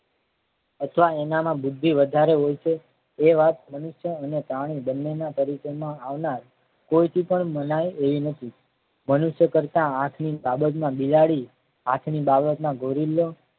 અથવા એનામાં બુદ્ધિ વધારે હોય છે એ વાત મનુષ્ય અને પ્રાણી બંનેના પરિચયમાં આવનાર કોઈ થી પણ મનાય એવી નથી મનુષ્ય કરતા હાથ ની બાબત માં બિલાડી હાથની બાબતમાં ગોરીલો